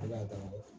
Ala ka